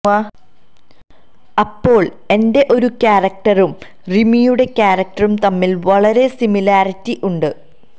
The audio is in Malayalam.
അപ്പോൾ എന്റെ ഒരു ക്യാരക്ടറും റിമിയുടെ ക്യാരക്ടറും തമ്മിൽ വളരെ സിമിലാരിറ്റി ഉണ്ട്